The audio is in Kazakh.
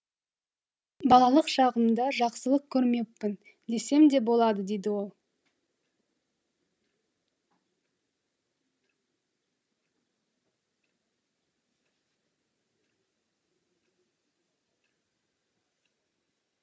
балалық шағымда жақсылық көрмеппін десем де болады дейді ол